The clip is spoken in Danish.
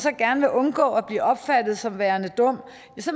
gerne vil undgå at blive opfattet som værende dum